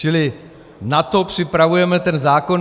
Čili na to připravujeme ten zákon.